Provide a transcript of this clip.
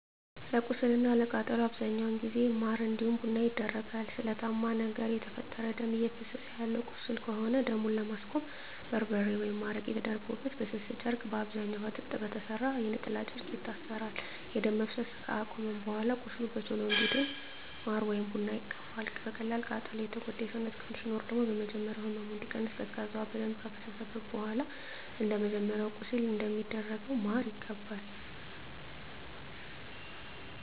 ለቁስል እና ለቃጠሎ በአብዛኛው ጊዜ ማር እንዲሁም ቡና ይደረጋል። በስለታማ ነገር የተፈጠረ ደም እፈሰሰ ያለው ቁስል ከሆነ ደሙን ለማስቆም በርበሬ ወይም አረቄ ተደርጎበት በስስ ጨርቅ በአብዛኛዉ ከጥጥ በተሰራ የነጠላ ጨርቅ ይታሰራል። ደም መፍሰስ አከቆመም በኃላ ቁስሉ በቶሎ እንዲድን ማር ወይም ቡና ይቀባል። በቀላል ቃጠሎ የጎዳ የሰውነት ክፍል ሲኖር ደግሞ በመጀመሪያ ህመሙ እንዲቀንስ ቀዝቃዛ ውሃ በደንብ ከፈሰሰበት በኃላ እንደመጀመሪያው ለቁስል እንደሚደረገው ማር ይቀባል።